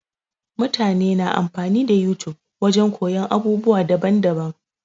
Mutane na amfani da YouTube wajen koyon abubuwa daban daban-daban.